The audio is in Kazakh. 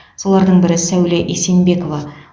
солардың бірі сәуле есенбекова